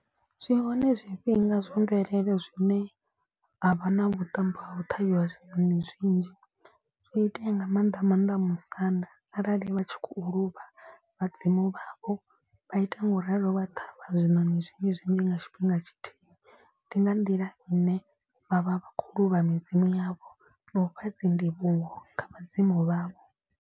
Zwi hone zwifhinga zwa mvelele zwine ha vha na vhuṱambo ha u ṱhavhiwa zwiṋoni zwinzhi. Zwi itea nga maanḓa maanḓa musanda arali vha tshi khou luvha vhadzimu vhavho vha ita ngauralo vha ṱhavha zwiṋoni zwinzhi zwinzhi nga tshifhinga tshithihi. Ndi nga nḓila i ne vha vha kho luvha midzimu yavho na ufha dzi ndivhuwo kha vhadzimu vhavho.